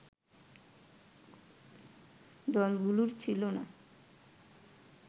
দলগুলোর ছিল না